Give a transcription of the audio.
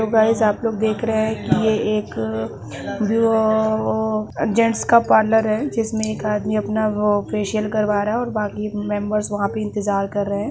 Hello guys आप लोग देख रहे हैं की यह एक अ अ जेंट्स का पार्लर है जिसमें एक आदमी अपना वो फेशियल करवा रहा है और बाकी मेंबर्स वहाँ पर इंतजार कर रहे हैं।